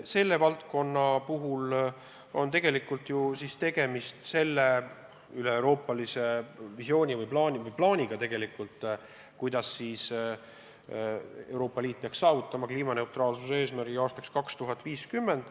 Selle valdkonna puhul on tegemist üleeuroopalise visiooni või plaaniga, kuidas Euroopa Liit peaks saavutama kliimaneutraalsuse eesmärgi aastaks 2050.